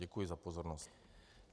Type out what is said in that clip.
Děkuji za pozornost.